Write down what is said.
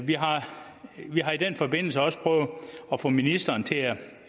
vi har vi har i den forbindelse også prøvet at få ministeren til at